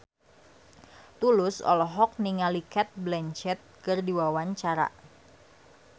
Tulus olohok ningali Cate Blanchett keur diwawancara